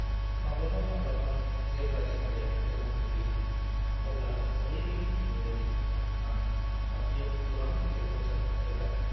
माब्लाबा-माब्लाबा, जेब्ला जिंगाया गोहोम खोख्लैयो, अब्ला ओरैबादि मोनोदि आं फाफ्लिआव गोबां गिलिर बजाय रोगादों।